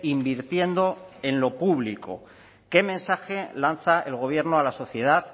invirtiendo en lo público qué mensaje lanza el gobierno a la sociedad